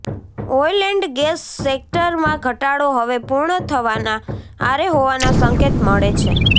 oil and gas સકેટરમાં ઘટાડો હવે પૂર્ણ થવાનાં આરે હોવાનાં સંકેત મળે છે